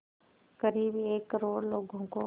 क़रीब एक करोड़ लोगों को